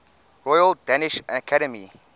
royal danish academy